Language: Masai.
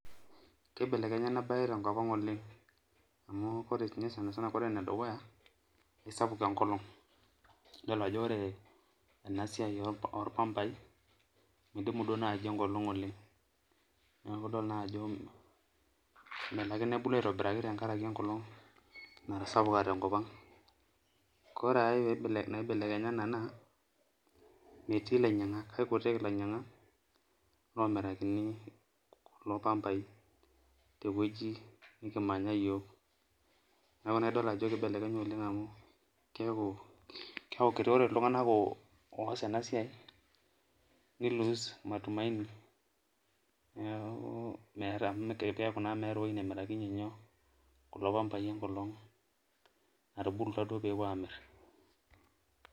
Kibelekenye enabae tenkop aang oleng amu ore sininye ore enedukuya kesapuk enkolong idolota ajo ore enasiai orpambai midimu duo nai enkolong oleng neaku idol nai ajo melo ake nebulu aitobiraki tenkaraki enkolong natasapuka tenkop ore ake na kekutik lainyangak lomirakini kulo pambai tewueji nikitii yiok neaku idolta ajo kibelekenya enasia tewoi nikitii amu keaku ore ltunganak oas enasiai ni[vs]loose matumaini neaku keaku na meeta ewoi namirakini kulo pambai enkolong natubulutwa pepuo amir.